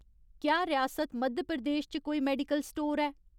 क्या रियासत मध्य प्रदेश च कोई मेडिकल स्टोर ऐ ?